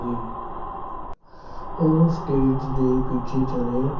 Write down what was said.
ਗਈ ਉਹ stage ਪਿੱੱਛੇ ਚਲੇ